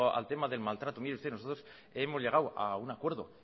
al tema del maltrato mire usted nosotros hemos llegado a un acuerdo